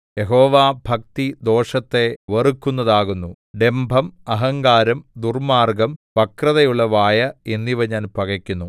യഹോവാഭക്തി ദോഷത്തെ വെറുക്കുന്നതാകുന്നു ഡംഭം അഹങ്കാരം ദുർമാർഗ്ഗം വക്രതയുള്ള വായ് എന്നിവ ഞാൻ പകക്കുന്നു